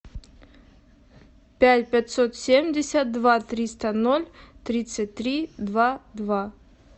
пять пятьсот семьдесят два триста ноль тридцать три два два